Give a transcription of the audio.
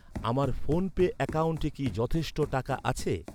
আমার ফোনপে অ্যাকাউন্টে কি যথেষ্ট টাকা আছে?